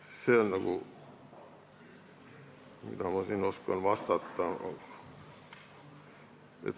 See on see, mida ma oskan siin vastata.